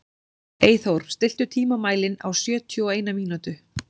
Eyþór, stilltu tímamælinn á sjötíu og eina mínútur.